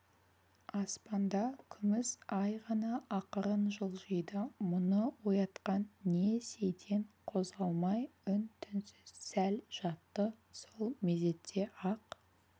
аспанда күміс ай ғана ақырын жылжиды мұны оятқан не сейтен қозғалмай үн-түнсіз сәл жатты сол мезетте-ақ